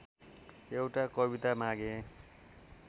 एउटा कविता मागेँ